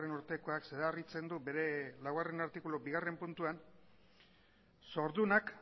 urtekoak zedarritzen du bere laugarrena artikulu bigarrena puntuan zordunak